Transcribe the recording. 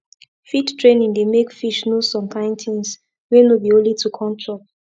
feed training dey make fish know some kind things wey no be only to come chop